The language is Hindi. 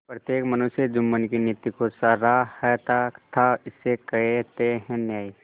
प्रत्येक मनुष्य जुम्मन की नीति को सराहता थाइसे कहते हैं न्याय